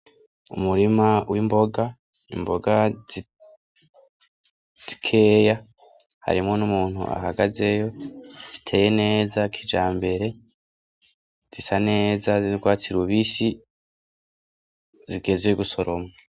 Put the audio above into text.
Umurima w'imboga, imboga zikeya harimo n'umuntu ahagazeyo ziteye neza kijambere, zisa neza ziri rwatsi rubisi zigezwe gusoroma.